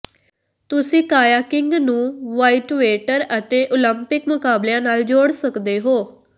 ਤੁਸੀਂ ਕਾਇਆਕਿੰਗ ਨੂੰ ਵ੍ਹਾਈਟਵੈਟਰ ਅਤੇ ਓਲੰਪਿਕ ਮੁਕਾਬਲਿਆਂ ਨਾਲ ਜੋੜ ਸਕਦੇ ਹੋ